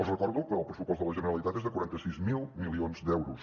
els recordo que el pressupost de la generalitat és de quaranta sis mil milions d’euros